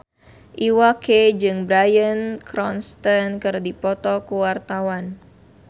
Iwa K jeung Bryan Cranston keur dipoto ku wartawan